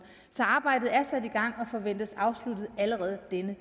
så arbejdet er sat i gang og forventes afsluttet allerede denne